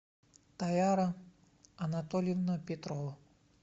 таяра анатольевна петрова